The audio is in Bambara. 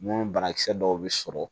Mun ni banakisɛ dɔw bɛ sɔrɔ